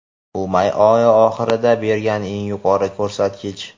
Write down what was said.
bu may oyi oxiridan beri eng yuqori ko‘rsatkich.